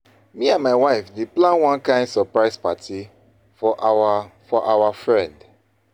Me and my wife dey plan one kain surprise party for our for our friend.